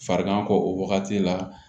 Farigan kɔ o wagati la